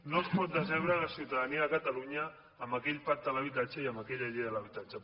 no es pot decebre la ciutadania de catalunya amb aquell pacte de l’habitatge i amb aquella llei de l’habitatge